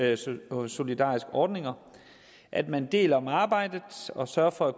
det som gode solidariske ordninger at man deles om arbejdet og sørger for at